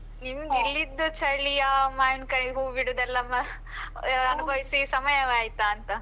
ನಿಮ್ಗೆ ಇಲ್ಲಿದ್ದು ಚಳಿಯಾ, ಮಾವಿನ್ಕಾಯಿ, ಹೂ ಬಿಡುದೆಲ್ಲ ಅನುಭವಿಸಿ ಸಮಯವಾಯಿತಾಂತ.